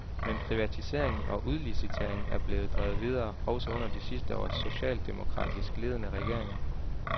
Men privatiseringen og udliciteringen er blevet drevet videre, også under de sidste års socialdemokratisk ledede regeringer.